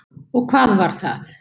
Og hvað var það?